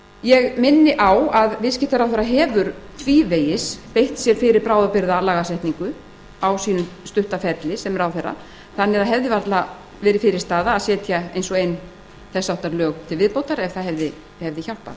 ég minni á að viðskiptaráðherra hefur tvívegis beitt sér fyrir bráðabirgðalagasetningu á sínum stutta ferli sem ráðherra þannig að varla hefði verið fyrirstaða að setja eins og ein þess háttar lög til viðbótar ef það hefði hjálpað